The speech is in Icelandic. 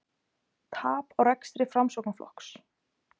Tap á rekstri Framsóknarflokks